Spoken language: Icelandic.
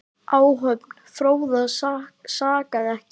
Áhöfn Fróða sakaði ekki.